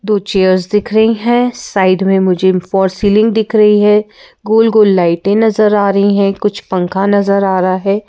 दो चेयर्स दिख रही हैं साइड में मुझे फॉर सीलिंग दिख रही है गोल गोल लाइटें नजर आ रही हैं कुछ पंखा नजर आ रहा है।